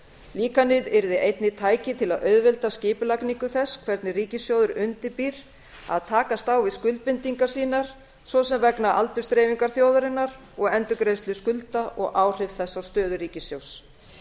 líkanið yrði einnig tæki til að auðvelda skipulagningu þess hvernig ríkissjóður undirbýr að takast á við skuldbindingar sínar svo sem vegna aldursdreifingar þjóðarinnar og endurgreiðslu skulda og áhrif þess á stöðu ríkissjóðs